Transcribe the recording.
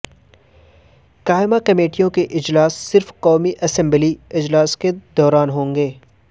قائمہ کمیٹیوں کے اجلاس صرف قومی اسمبلی اجلاس کے دوران ہوں گے